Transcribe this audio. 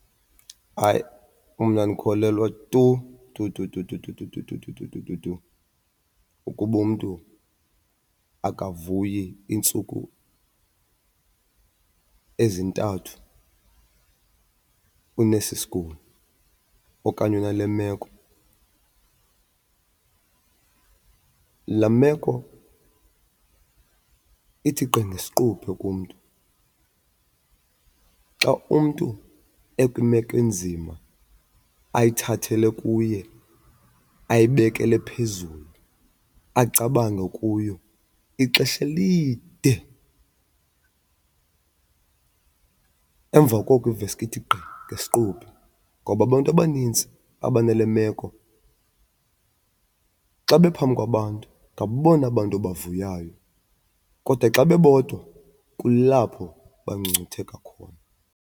Hayi, mna andikholelwa tu tu tu tu tu tu tu tu tu tu tu tu tu tu ukuba umntu akavuyi iintsuku ezintathu unesi sigulo okanye unale meko. Laa meko ithi gqi ngesiquphe kumntu. Xa umntu ekwimeko enzima ayithathele kuye, ayibekele phezulu acabange kuyo ixesha elide, emva koko iveske ithi gqi ngesiquphe. Ngoba abantu abanintsi abanale meko xa bephambi kwabantu ngabona bantu bavuyayo kodwa xa bebodwa kulapho bangcungcutheka khona.